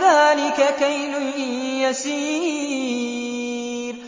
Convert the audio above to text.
ذَٰلِكَ كَيْلٌ يَسِيرٌ